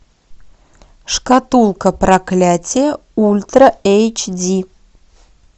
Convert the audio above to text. шкатулка проклятия ультра эйч ди